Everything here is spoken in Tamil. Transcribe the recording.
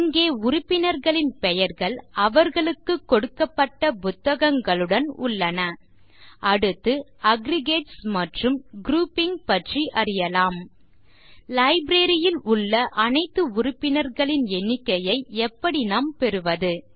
இங்கே உறுப்பினர்களின் பெயர்கள் அவர்களுக்குக் கொடுக்கப்பட்ட புத்தகங்களுடன் உள்ளன அடுத்து அக்ரிகேட்ஸ் மற்றும் குரூப்பிங் பற்றி அறியலாம் லைப்ரரி ல் உள்ள அனைத்து உறுப்பினர்களின் எண்ணிக்கையை எப்படி நாம் பெறுவது